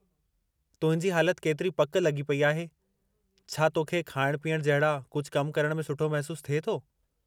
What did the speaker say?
तुंहिंजी हालति केतिरी पकि लगी॒ पई आहे, छा तोखे खाइणु पीयणु जहिड़ा कुझु कम करण में सुठो महिसूसु थिए थो?